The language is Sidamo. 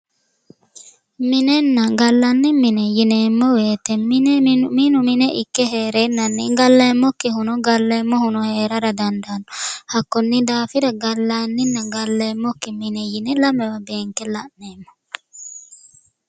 Minenna gallanni mine yineemmo woyte mine minu mine ikke heerenanni galleemmokkihuno galleemmohuno heerara dandaano hakkoni daafira gallaninna galleemmokki mine lamewa beenke la'neemmo.